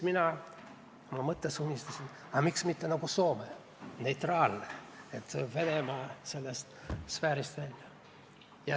Mina oma mõtetes unistasin, et aga miks mitte nagu Soome – neutraalne, Venemaa sfäärist väljas.